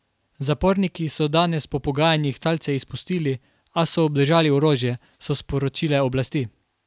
Zaporniki so danes po pogajanjih talce izpustili, a so obdržali orožje, so sporočile oblasti.